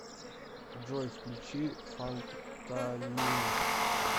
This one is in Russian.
джой включи фантанин